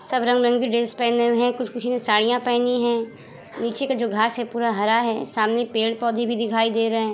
सब रंग-रंग के ड्रेस पहने हुए है कुछ-कुछ ने साड़ियाँ पहनी है नीचे का जो घास है पूरा हरा है सामने पेड़-पौधे भी दिखाई दे रहे --